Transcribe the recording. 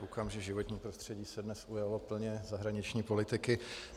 Koukám, že životní prostředí se dnes ujalo plně zahraniční politiky.